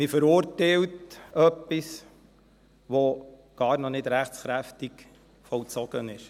Man verurteilt etwas, das noch gar nicht rechtskräftig vollzogen ist.